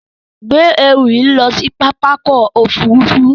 Gbé ẹrù yìí lọ sí pápákọ̀-òfurufú.